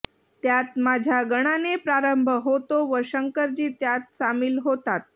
त्यात माझ्या गणाने प्रारंभ होतो व शंकरजी त्यात सामील होतात